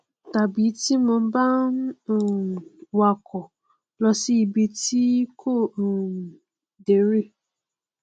tàbí tí mo bá ń um wakọ lọ sí ibi tí n kò um dé rí